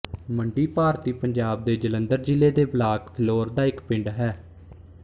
ਮੰਡੀ ਭਾਰਤੀ ਪੰਜਾਬ ਦੇ ਜਲੰਧਰ ਜ਼ਿਲ੍ਹੇ ਦੇ ਬਲਾਕ ਫਿਲੌਰ ਦਾ ਇੱਕ ਪਿੰਡ ਹੈ